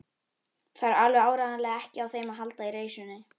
Þarf alveg áreiðanlega ekki á þeim að halda í reisunni.